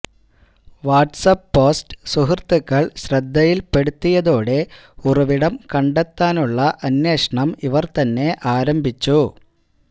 വാട്സ് app post സുഹൃത്തുക്കൾ ശ്രദ്ധയിൽപ്പെടുത്തിയതോടെ ഉറവിടം കണ്ടെത്താനുള്ള അന്വേഷണം ഇവർതന്നെ ആരംഭിച്ചു